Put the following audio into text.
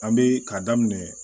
An be ka daminɛ